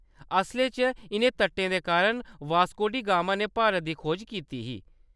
असलै च, इʼनें तटें दे कारण वास्को डी गामा ने भारत दी खोज कीती ही।